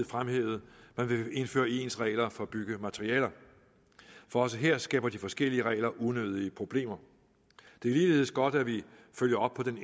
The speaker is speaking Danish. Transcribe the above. fremhævede at man vil indføre ens regler for byggematerialer for også her skaber de forskellige regler unødige problemer det er ligeledes godt at vi følger op på den